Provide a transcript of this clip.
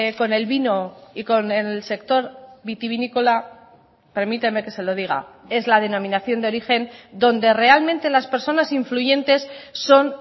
con el vino y con el sector vitivinícola permíteme que se lo diga es la denominación de origen donde realmente las personas influyentes son